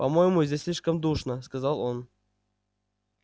по-моему здесь слишком душно сказал он